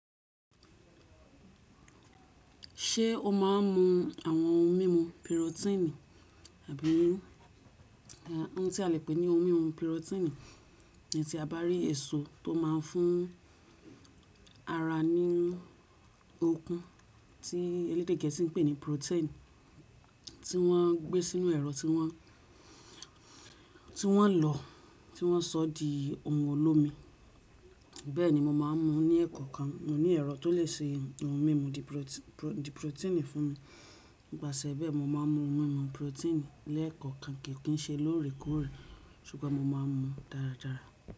Ṣé o má a n mu àwọn ohun mímu pirotíìnì àbí irú àh, ohun tí a lè pè ní ohun mímu pirotíìnì, ní ti a bá rí èso tó má a n fún ara ní okun tí elédè gẹ̀ẹ́sì n pè ní protein tí wọ́n gbé sínú ẹ̀rọ tí wọ́n, tí wọ́n lọ tí wọ́n sọ di ohun olómi. Bẹ́ẹ̀ni mo má n mu ní ẹ̀kọ̀ kan. Mo ní ẹ̀rọ tó lè se ohun mímu di pirotíìnì fún mi. Nípasẹ̀ bẹ́ẹ̀ mo má n mu ohun mímu pirotíìnì ní ẹ̀kọ̀ kan kì í ṣe lóòrèkóòrè ṣùgbọ́n mo má n mu dáradára.